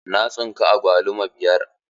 Na tsinka agwaluma biyar.